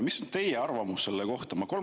Mis on teie arvamus selle kohta?